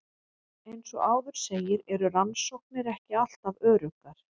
Eins og áður segir eru rannsóknir ekki alltaf öruggar.